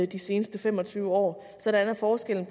de seneste fem og tyve år sådan at forskellen